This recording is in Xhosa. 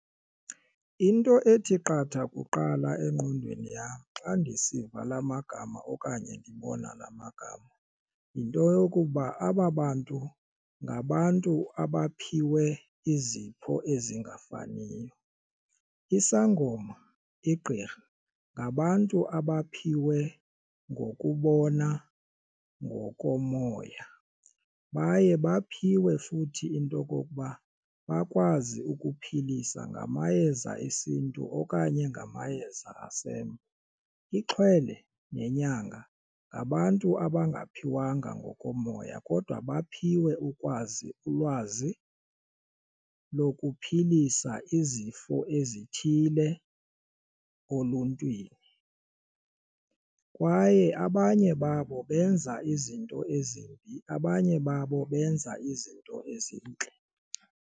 Into ethi qatha kuqala engqondweni yam xa ndisiva la magama okanye ndibona la magama yinto yokuba aba bantu ngabantu abaphiwe izipho ezingafaniyo. Isangoma igqirha ngabantu abaphiwe ngokubona ngokomoya baye baphiwe futhi into okokuba bakwazi ukuphilisa ngamayeza esintu okanye ngamayeza . Ixhwele nenyanga ngabantu abangaphiwanga ngokomoya kodwa baphiwe ukwazi ulwazi lokuphilisa izifo ezithile oluntwini kwaye abanye babo benza izinto ezimbi abanye babo benza izinto .